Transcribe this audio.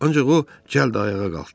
Ancaq o cəld ayağa qalxdı.